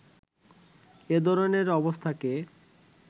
এ ধরনের অবস্থাকে